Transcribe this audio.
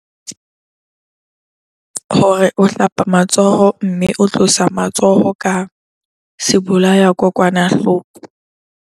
Hore o hlapa matsoho mme o tlotsa matsoho ka sebolayakokwanahloko.